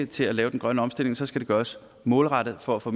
til at lave den grønne omstilling skal det gøres målrettet for at få